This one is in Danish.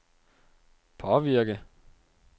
påvirke